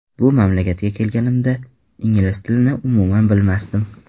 Bu mamlakatga kelganimda ingliz tilini umuman bilmasdim.